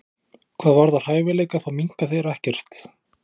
Hvað varðar hæfileika þá minnka þeir ekkert.